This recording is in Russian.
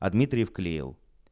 дмитриев клеил